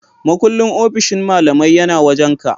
Makullin ofishin malamai yana wajan ka?